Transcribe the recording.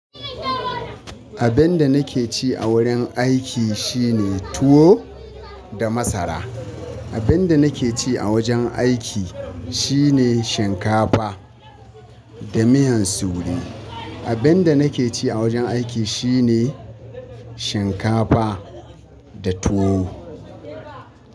Abinda nake ci a wurin aiki shine tuwo da masara. Abinda nake ci a wajen aiki shine shinkafa da miyan sure. Abinda nake ci a wajen aiki shine shinkafa da tuwo.